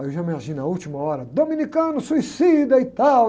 Aí eu já imagino a última hora, dominicano, suicida e tal.